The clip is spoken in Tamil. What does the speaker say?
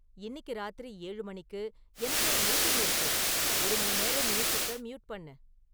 இன்னிக்கு ராத்திரி ஏழு மணிக்கு எனக்கு ஒரு மீட்டிங் இருக்கு, ஒரு மணிநேரம் மியூசிக்க மியூட் பண்ணு